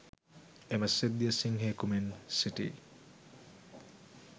එම සිද්ධිය සිංහයකු මෙන් සිටි